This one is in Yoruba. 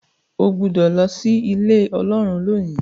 o gbódò ló sí Ilé Ọlọ́run lónì.